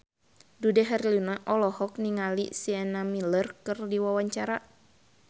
Dude Herlino olohok ningali Sienna Miller keur diwawancara